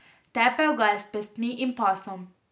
Tepel ga je s pestmi in pasom.